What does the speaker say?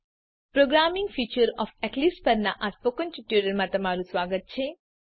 programming features of Eclipse પરનાં ટ્યુટોરીયલમાં સ્વાગત છે